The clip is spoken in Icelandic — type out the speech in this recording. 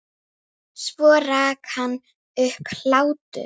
Svo rak hann upp hlátur.